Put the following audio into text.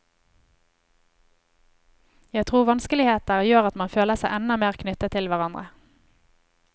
Jeg tror vanskeligheter gjør at man føler seg enda mer knyttet til hverandre.